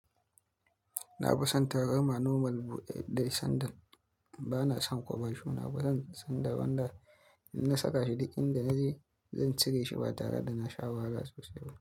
Na fi son tarama normal buɗe dai sandal. Ba na son koba show, ba zan san da banda in na saka shi, duk inda naje zan cire shi ba tare da na sha wahalla sosai ba.